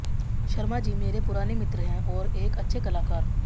शर्मा जी मेरे पुराने मित्र हैं और एक अच्छे कलाकार